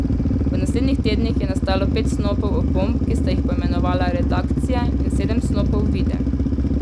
V naslednjih tednih je nastalo pet snopov opomb, ki sta jih poimenovala Redakcija, in sedem snopov Videnj.